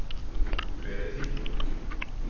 Hver er þín?